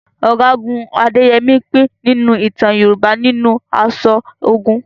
Ọ̀gágun Adéyẹmi pín nínú ìtàn Yorùbá nínú aṣọ ogun